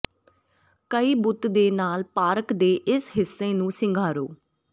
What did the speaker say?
ਕਈ ਬੁੱਤ ਦੇ ਨਾਲ ਪਾਰਕ ਦੇ ਇਸ ਹਿੱਸੇ ਨੂੰ ਸਿੰਗਾਰੋ